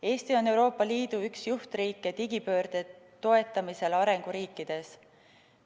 Eesti on Euroopa Liidu üks juhtriike digipöörde toetamisel arenguriikides.